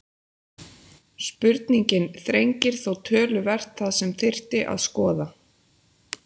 Spurningin þrengir þó töluvert það sem þyrfti að skoða.